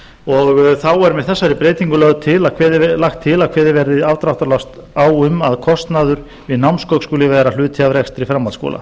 þá er með þessari breytingu lagt til að kveðið verði afdráttarlaust á um að kostnaður við námsgögn skuli vera hluti af rekstri framhaldsskóla